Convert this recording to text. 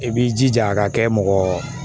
I b'i jija a ka kɛ mɔgɔ